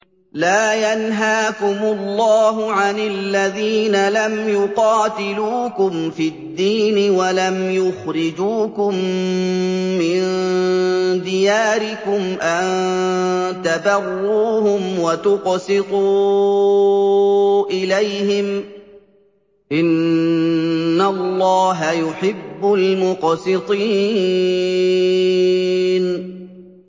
لَّا يَنْهَاكُمُ اللَّهُ عَنِ الَّذِينَ لَمْ يُقَاتِلُوكُمْ فِي الدِّينِ وَلَمْ يُخْرِجُوكُم مِّن دِيَارِكُمْ أَن تَبَرُّوهُمْ وَتُقْسِطُوا إِلَيْهِمْ ۚ إِنَّ اللَّهَ يُحِبُّ الْمُقْسِطِينَ